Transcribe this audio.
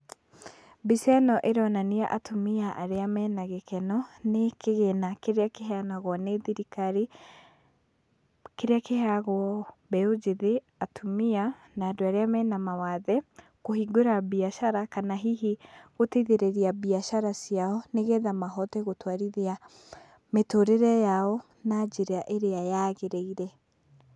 Mbica ĩno ĩronania atumia arĩa mena gĩkeno nĩ kĩgĩna kĩrĩa kĩheanagwo nĩ thirikari, kĩrĩa kĩheagwo mbeũ njĩthĩ, atumia na andũ arĩa mena mawathe, kũhingũra mbiacara kana hihi gũteithĩrĩrĩa mbiacara ciao nĩgetha mahote gũtwarithia mĩtũrĩre yao na njĩra ĩrĩa yagĩrĩĩre.